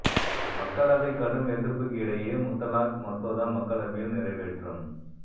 மக்களவை கடும் எதிர்ப்புக்கு இடையே முத்தலாக் மசோதா மக்களவையில் நிறைவேற்றம்